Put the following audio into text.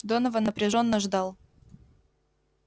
донован напряжённо ждал